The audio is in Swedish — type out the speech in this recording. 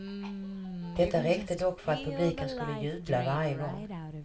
Detta räckte dock för att publiken skulle jubla varje gång.